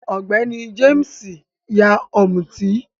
Ọ̀gbẹ́ní Jéímìsì yá Ọ̀mútì